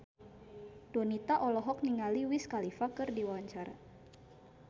Donita olohok ningali Wiz Khalifa keur diwawancara